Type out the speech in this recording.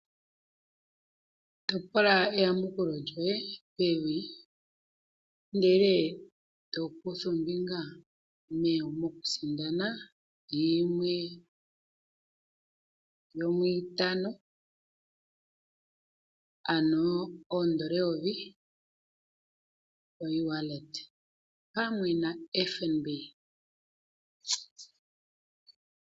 Topola eyamukulo lyoye pevi, ndele to kutha ombinga mokusindana yimwe yomwiitano, ano oondola eyovi ko ewallet pamwe nFNB.